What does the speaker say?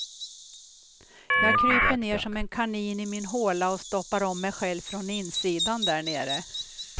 Jag kryper ner som en kanin i min håla och stoppar om mig själv från insidan där nere.